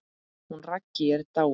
Hún Raggý er dáin.